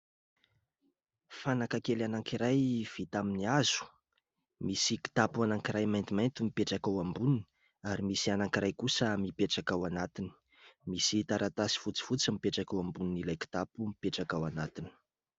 Fanaka kely anankiray vita amin' ny hazo. Misy kitapo anankiray maintimainty mipetraka ao amboniny ary misy anankiray kosa mipetraka ao anatiny. Misy taratasy fotsifotsy mipetraka ao ambonin' ilay kitapo mipetraka ao anatiny.